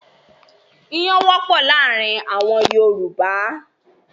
Iyán wọ́pọ̀ láàárin àwọn Yorùbá.